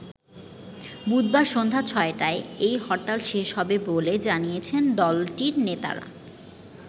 বুধবার সন্ধ্যা ছ’টায় এই হরতাল শেষ হবে বলে জানিয়েছেন দলটির নেতারা।